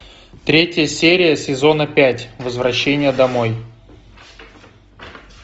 третья серия сезона пять возвращение домой